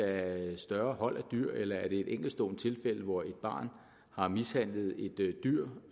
af større hold af dyr eller er det et enkeltstående tilfælde hvor et barn har mishandlet et dyr